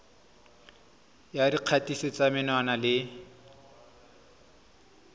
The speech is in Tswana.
ya dikgatiso tsa menwana le